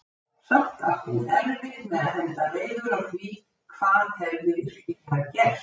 Samt átti hún erfitt með að henda reiður á því hvað hefði virkilega gerst.